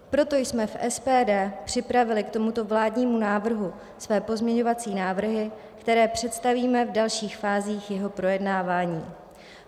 Proto jsme v SPD připravili k tomuto vládnímu návrhu své pozměňovací návrhy, které představíme v dalších fázích jeho projednávání.